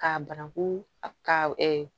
K'a bananku ka